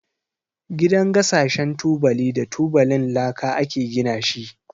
Gidan gasashen tubali da tubalin laka ake gina shi.